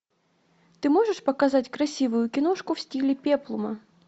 ты можешь показать красивую киношку в стиле пеплума